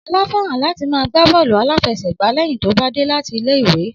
Ọlá fẹ́ràn láti máa gbá bọ́ọ̀lù aláfẹsẹ̀gbá lẹ́yìn tó bá dé láti ilé ìwé